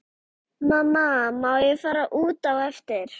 Mamma má ég fara út á eftir?